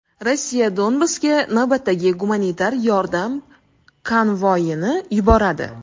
Rossiya Donbassga navbatdagi gumanitar yordam konvoyini yuboradi.